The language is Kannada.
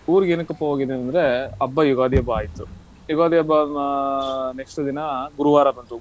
ಊರ್ಗೆ ಏನಕಪ್ಪಾ ಹೋಗಿದ್ದೆ ಅಂದ್ರೆ, ಹಬ್ಬ ಯುಗಾದಿ ಹಬ್ಬ ಆಯ್ತು. ಯುಗಾದಿ ಹಬ್ಬ ಆದ next ದಿನ ಗುರುವಾರ ಬಂದು,